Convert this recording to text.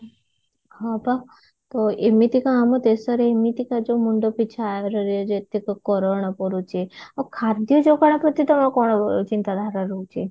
ହଁ ପା ତ ଏମିତିକା ଆମ ଦେଶରେ ଏମିତିକା ଯଉ ମୁଣ୍ଡପିଛା ଆୟରେ ଯେତକ ପଡୁଛି ଆଉ ଖାଦ୍ୟ ଯଉ ଚିନ୍ତାଧାରା ରହୁଛି